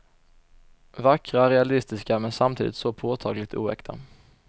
Vackra, realistiska men samtidigt så påtagligt oäkta.